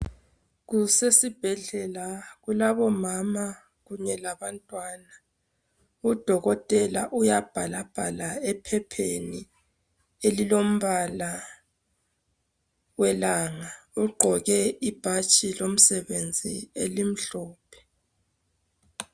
Kusesibhedlela kulabo mama kunye labantwana udokotela uyabhalabhala ephepheni elilombala welanga ugqoke ibhatshi lomsebenzi elimhlophe